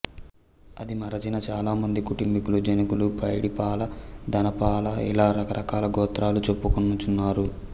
అది మరచిన చాలామంది కుటుంబీకులు జనకుల పైడిపాల ధనపాల ఇలా రకరకాల గోత్రాలు చెప్పుకొనుచున్నారు